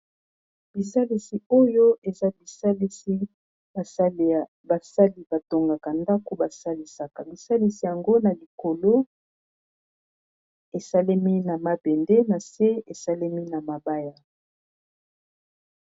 Bisalisi oyo eza bisalisi basali batongaka ndako basalisaka bisalisi yango na likolo esalemi na mabende na se esalemi na mabaya.